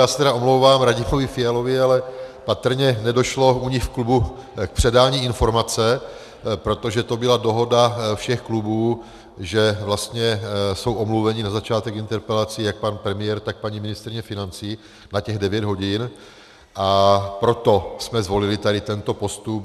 Já se tedy omlouvám Radimovi Fialovi, ale patrně nedošlo u nich v klubu k předání informace, protože to byla dohoda všech klubů, že vlastně jsou omluveni na začátek interpelací jak pan premiér, tak paní ministryně financí na těch devět hodin, a proto jsme zvolili tady tento postup.